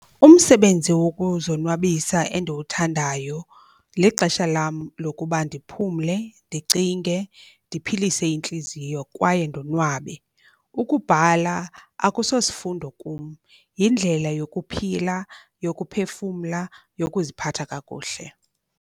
Umsebenzi wokuzonwabisa endiwuthandayo lixesha lam lokuba ndiphumle, ndicinge, ndiphilise intliziyo kwaye ndonwabe. Ukubhala akusosifundo kum, yindlela yokuphila, yokuphefumla, yokuziphatha kakuhle.